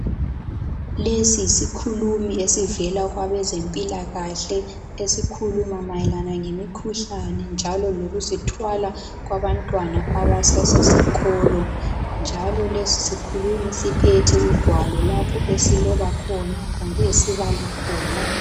Lesi yisikhulumi esivela kwabezempilakahle. Esikhuluma mayelana ngemikhuhlane njalo lokuzithwala kwabantwana abasesikolo .Njalo lesi sikhulumi siphethe ugwalo lapho esiloba khona kumbe esibala khona.